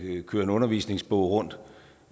køre en undervisningsbog rundt